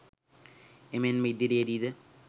එමෙන්ම ඉදිරියේදී ද